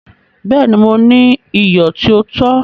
Bẹ́ẹ̀ni, Mò ní iyọ̀ tí o tó.